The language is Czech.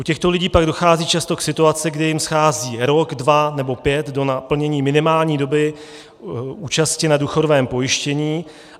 U těchto lidí pak dochází často k situaci, kdy jim schází rok, dva nebo pět do naplnění minimální doby účasti na důchodovém pojištění.